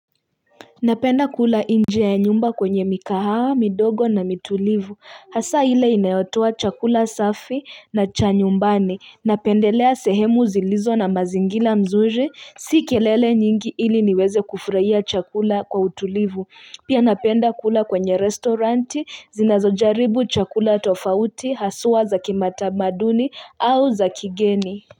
Napenda kula inje ya nyumba kwenye mikahawa, midogo na mitulivu. Hasa hile inayotoa chakula safi na cha nyumbani. Napendelea sehemu zilizo na mazingila mzuri, si kelele nyingi ili niweze kufuraia chakula kwa utulivu. Pia napenda kula kwenye restoranti, zinazojaribu chakula tofauti, haswa za kimatamaduni au za kigeni.